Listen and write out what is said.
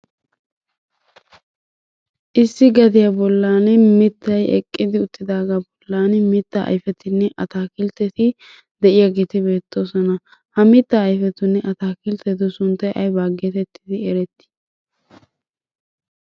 Issi gaddiya bollan mitay eqqidi uttidagaa bollan mitaa ayfettinne ataakiltetti de'iyaageeti beettoosona. Ha mitaa ayfetunne ataakiltetu sunttay aybaa geetettidi eretti?